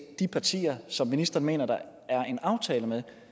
de partier som ministeren mener at der er en aftale med